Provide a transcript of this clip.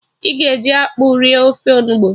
I ga-eji akpụ rie ofe onugbu?